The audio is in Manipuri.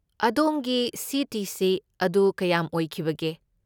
ꯑꯗꯣꯝꯒꯤ ꯁꯤ.ꯇꯤ.ꯁꯤ. ꯑꯗꯨ ꯀꯌꯥꯝ ꯑꯣꯏꯈꯤꯕꯒꯦ?